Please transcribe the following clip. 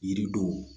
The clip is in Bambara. Yiri dɔw